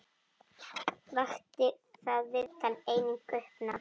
Vakti það viðtal einnig uppnám.